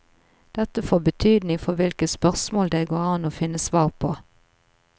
Dette får betydning for hvilke spørsmål det går an å finne svar på.